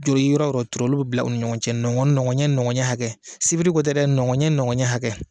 Juru yɔrɔ o yɔrɔ turu, olu bɛ bila u ni ɲɔgɔn cɛ, nɔgɔn nɔgɔn ɲɛ hakɛ, sibiri ko tɛ dɛ nɔgɔn ɲɛ nɔgɔn ɲɛ hakɛ.